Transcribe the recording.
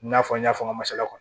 I n'a fɔ n y'a fɔ n ka masala kɔni